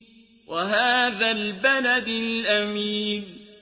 وَهَٰذَا الْبَلَدِ الْأَمِينِ